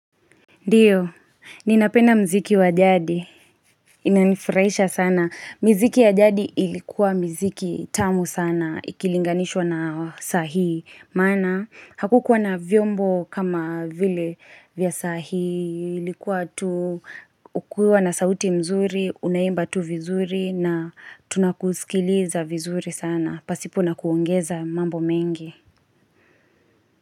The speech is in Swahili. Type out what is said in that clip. Ndiyo, ninapenda mziki wa jadi, inanifraisha sana, miziki ya jadi ilikuwa miziki tamu sana, ikilinganishwa na sahii, maana, hakukuwa na vyombo kama vile vya sahii, ilikuwa tu, ukiwa na sauti nzuri, unaimba tu vizuri, na tunakusikiliza vizuri sana, pasipo nakuongeza mambo mengi.